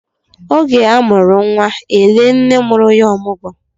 Ọ ge a mụrụ nwa e lee nne mụrụ ya ọmụgwọ.